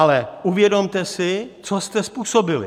Ale uvědomte si, co jste způsobili.